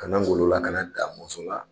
Ka na Ngolo la ka na Damɔsɔ la